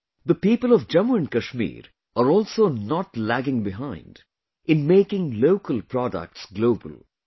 Friends, the people of Jammu and Kashmir are also not lagging behind in making local products global